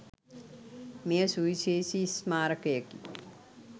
මෙය සුවිශේෂී ස්මාරකයකි.